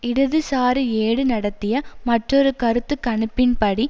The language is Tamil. இடதுசாரி ஏடு நடத்திய மற்றொரு கருத்து கணிப்பின்படி